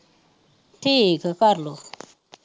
ਠੀਕ ਆ ਕਰਲੋ